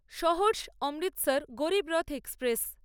Saharsa Amritsar Garib Rath express